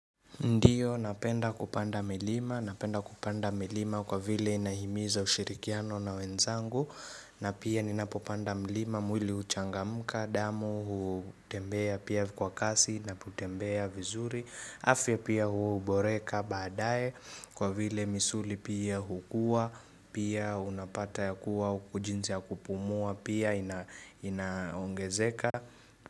Ndiyo, napenda kupanda milima, napenda kupanda milima kwa vile inahimiza ushirikiano na wenzangu na pia ninapopanda mlima, mwili uchangamka, damu, hutembea pia kwa kasi, napotembea vizuri afya pia huboreka badae kwa vile misuli pia hukua, pia unapata ya kuwa ujinzi ya kupumua, pia inaongezeka.